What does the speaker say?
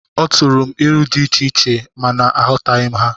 Ọ turu m ilu dị icheiche, ma na aghọtaghi ha